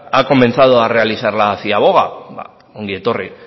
ha comenzado a realizar la ciaboga ongi etorri